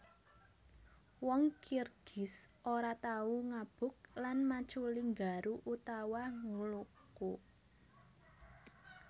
Wong Kirgiz ora tau ngabuk lan maculi nggaru utawa ngluku